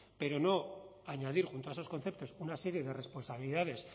pero no añadir junto a esos conceptos una serie de responsabilidades